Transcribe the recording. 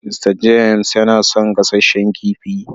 "Mr James" yana son gasasshen kifi.